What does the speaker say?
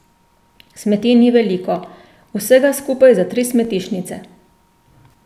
Smeti ni veliko, vsega skupaj za tri smetišnice.